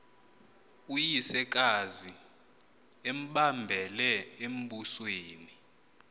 uyisekazi embambele embusweni